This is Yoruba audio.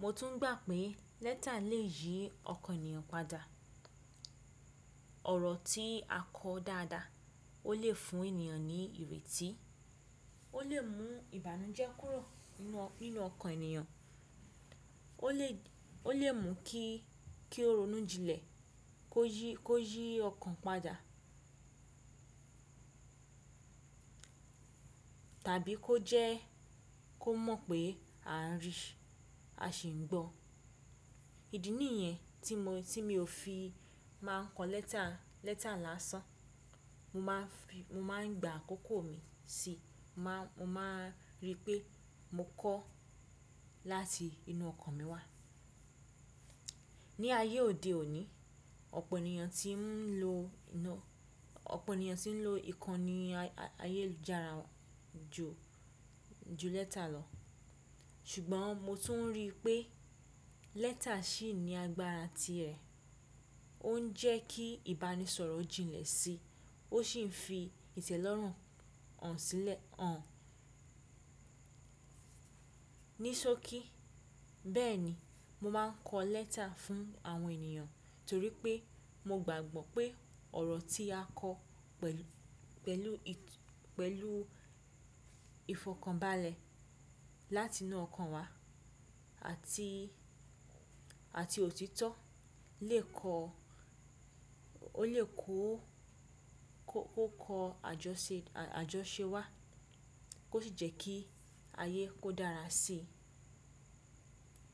Mo tún gbà pé lẹ́ta lè yí ọkàn ènìyàn padà. Ọ̀rọ̀ tí a kọ dáadáa ó lè fún ènìyàn ní ìrètí, ó lè mú ìbànújẹ́ kúrò ninú, ninú ọkàn ènìyàn, ó lè, ó lè mú kí, kí ó ronú jinlẹ̀, kó yí, kó yí ọkàn padà tàbí kó jẹ́ kó mọ̀ pé a ń rí i, a sì ń gbọ́. Ìdí nìyẹn tí mo, tí mi ò fi máa ń kọ lẹ́ta, lẹ́ta lásán. Mo máa ń fi, mo máa ń gba àkókò mi si, mo máa, mo máa rí pé mo kọ láti inú ọkàn mi wá. Ni ayé òde òní ọ̀pọ̀ ènìyàn tí ń lo, ọ̀pọ̀ ènìyàn tí ń lo ìkànnì ayé ìyelujara ju, ju lẹ́ta lọ. Ṣùgbọ́n mo tún rí i pé lẹ́ta ṣì ní agbára ti ẹ̀. Ó ń jẹ́ kí ìbánisọ̀rọ̀ jinlẹ̀ sí, ó sì ń fi ìtẹ́lọ́rùn hàn sílẹ̀ hàn. Ní sókí, bẹ́ẹ̀ni, mo máa ń kọ lẹ́ta fún àwọn ènìyàn torí pé mo gbàgbọ́ pé ọ̀rọ̀ tí a kọ pẹ̀lú, pẹ̀lú ìtú, pẹ̀lú ìfọkànbalẹ̀ láti inú ọkàn wa àti, àti òtítọ́ lè kọ, ó lè kó, kó kọ àjọṣe, àjọṣe wá kó sì jẹ́ kí ayé kó dára sí i.